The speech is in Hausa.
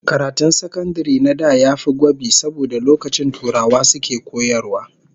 Karatun sakandare na da yafi gwabi saboda lokacin turawa suke koyarwa